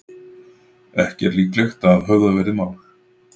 Ekki líklegt að höfðað verði mál